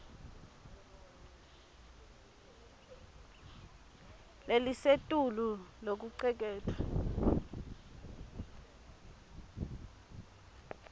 lelisetulu lokucuketfwe